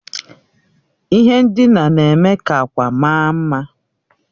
Ihe ndina na-eme ka akwa mara mma